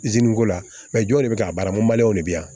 ko la jɔn de bɛ k'a baara mɔlenw de bɛ yan